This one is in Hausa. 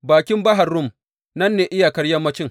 Bakin Bahar Rum nan ne iyakar yammanci.